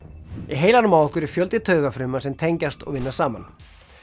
heilanum á okkur er fjöldi taugafrumna sem tengjast og vinna saman